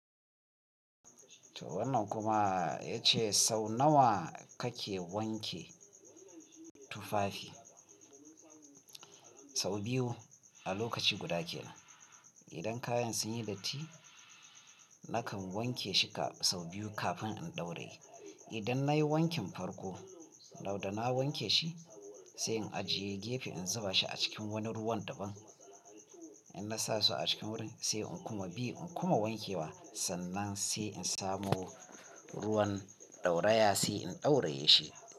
To wannan kuma ya ce sau nawa kake wanke tufafi? Sau biyu a lokaci guda kenan. Idan kayan sun yi datti nakan wanke shi sau biyu kafin in ɗauraye. Idan nayi wankin farko, toh da na wanke shi sai in ajiye gefe in zuba shi a cikin wani ruwan daban. In na sa su a cikin wurin sai in kuma bi in kuma wanke wa sannan sai in samo ruwan ɗauraya sai in ɗauraye shi.